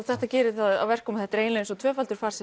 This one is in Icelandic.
þetta gerir það að verkum að þetta er eiginleg tvöfaldur farsi